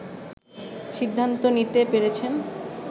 সিদ্ধান্ত নিতে পেরেছেন